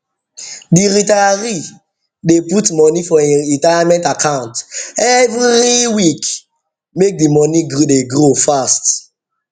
the retiree dey put money for him retirement account every week make the money gree dey grow fast